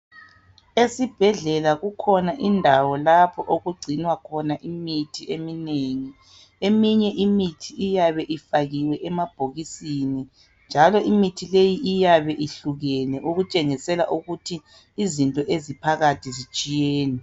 Esibhedlela kukhona indawo lapho okugcinwa khona imithi eminengi eminye imithi iyabe ifakiwe emabhokisini njalo imithi leyi iyingozi iyabe ihlukekene okutshengisela ukuthi izinto eziphakathi zitshiyene.